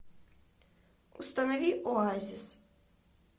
установи оазис